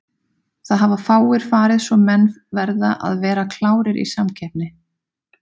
Það hafa fáir farið svo menn verða að vera klárir í samkeppni.